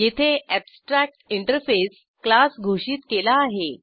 येथे abstract interface class घोषित केला आहे